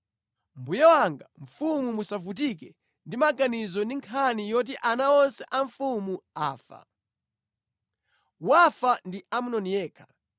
Mbuye wanga mfumu musavutike ndi maganizo ndi nkhani yoti ana onse a mfumu afa. Wafa ndi Amnoni yekha.”